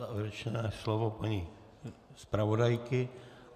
Závěrečné slovo paní zpravodajky.